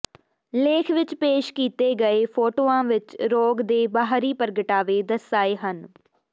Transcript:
ਲੇਖ ਵਿਚ ਪੇਸ਼ ਕੀਤੇ ਗਏ ਫੋਟੋਆਂ ਵਿਚ ਰੋਗ ਦੇ ਬਾਹਰੀ ਪ੍ਰਗਟਾਵੇ ਦਰਸਾਏ ਹਨ